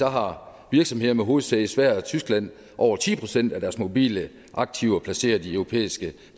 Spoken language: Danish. har virksomheder med hovedsæde i sverige og tyskland over ti procent af deres mobile aktiver placeret i europæiske